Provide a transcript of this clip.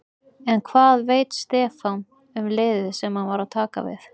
En hvað veit Stefán um liðið sem hann er að taka við?